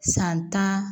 San tan